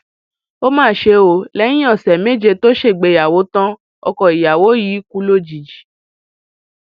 ó mà ṣe o lẹyìn ọsẹ méje tó ṣègbéyàwó tan ọkọ ìyàwó yìí ìyàwó yìí kù lójijì